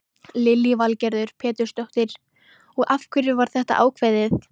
Lillý Valgerður Pétursdóttir: Og af hverju var þetta ákveðið?